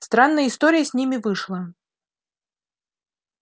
странная история с ними вышла